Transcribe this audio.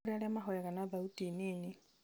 nĩ kũrĩ arĩa mahoyaga na thauti nini